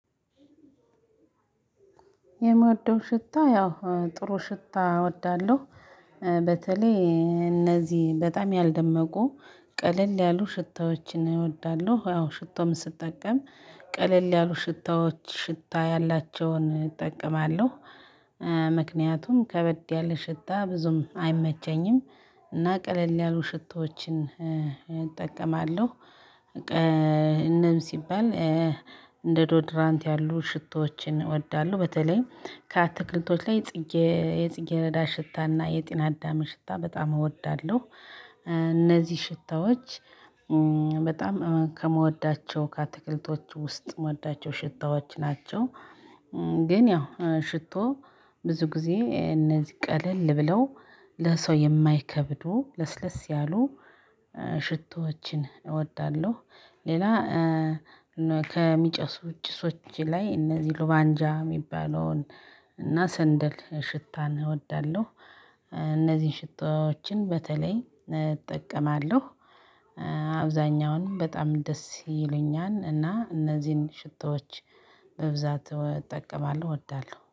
የምወደው ሽታ ያው ጥሩ ሽታ እወዳለሁ። በተለይ እነዚህ በጣም ያልደመቁ ቀለል ያሉ ሽታዎችን እወዳለሁ ያው ሽቶም ስጠቀም ቀለል ያሉ ሽታዎች ሽታ ያላቸውን እጠቀማለሁ። ምክንያቱም ከበድ ያለ ሽታ ብዙም አይመቸኝም። እና ቀለል ያሉ ሽቶዎችን እጠቀማለሁ። እነዚህም ሲባል እንደ ዶድራንት ያሉ ሽቶዎችን እወዳለሁ በተለይም ከአትክልቶች ላይ የጽጌ የጽጌሬዳ ሽታ እና የጤና አዳምን ሽታ በጣም እወዳለሁ። እነዚህ ሽታዎች በጣም ከምወዳቸው ከአትክልቶች ውስጥ ምወዳቸው ሽታዎች ናቸው። ግን ያው ሽቶ ብዙ ጊዜ እነዚህ ቀለል ብለው ለሰው የማይከብዱ ለስለስ ያሉ ሽቶዎችን እወዳለሁ። ሌላ ከሚጨሱ ጭሶች ላይ እነዚህ ሉባንጃ ሚባለውን እና ሰንደል ሽታን እወዳለሁ። እነዚህን ሽታዎችን በተለይ እጠቀማለሁ። አብዛኛውን በጣም ደስ ይሉኛል እና እነዚህን ሽቶዎች በብዛት እጠቀማለሁ እወዳለሁ